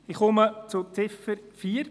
Ich komme zu Ziffer 4.